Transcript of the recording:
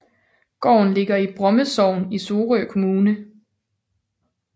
Gården ligger i Bromme Sogn i Sorø Kommune